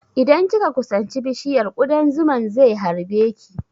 Idan kika kusanci bishiyar, ƙudan zuman ze harbe ki